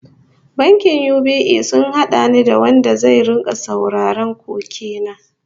Bankin UBA sun hada ni da wanda zai rika sauraron koke na